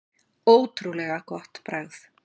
Ótrúlega gott bragð.